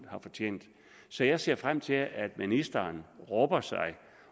har fortjent så jeg ser frem til at ministeren rubber sig